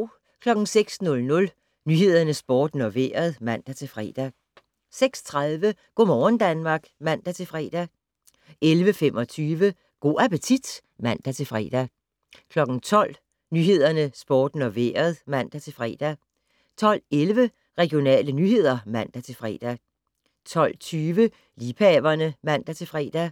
06:00: Nyhederne, Sporten og Vejret (man-fre) 06:30: Go' morgen Danmark (man-fre) 11:25: Go' appetit (man-fre) 12:00: Nyhederne, Sporten og Vejret (man-fre) 12:11: Regionale nyheder (man-fre) 12:20: Liebhaverne (man-fre)